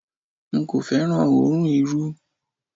N kò féràn òórùn Irú.